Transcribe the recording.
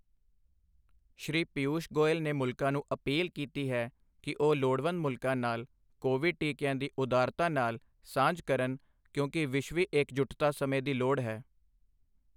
ਸ਼੍ਰੀ ਪੀਯੂਸ਼ ਗੋਇਲ ਨੇ ਮੁਲਕਾਂ ਨੂੰ ਅਪੀਲ ਕੀਤੀ ਹੈ ਕਿ ਉਹ ਲੋੜਵੰਦ ਮੁਲਕਾਂ ਨਾਲ ਕੋਵਿਡ ਟੀਕਿਆਂ ਦੀ ਉਦਾਰਤਾ ਨਾਲ ਸਾਂਝ ਕਰਨ ਕਿਉਂਕਿ ਵਿਸ਼ਵੀ ਇਕਜੁੱਟਤਾ ਸਮੇਂ ਦੀ ਲੋੜ ਹੈ